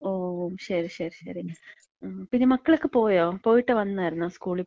ഓ, ശരി ശരി ശരി. പിന്നെ മക്കളൊക്ക പോയോ? പോയിട്ട് വന്നായിരുന്നോ സ്കൂളിപ്പോയിട്ട്?